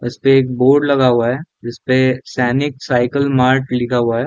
इसपे एक बोर्ड लगा हुआ है जिसपे सैनिक साइकिल मार्ट लिखा हुआ है।